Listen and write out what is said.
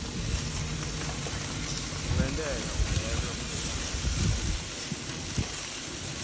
kungenteka ungenwe ngulesifo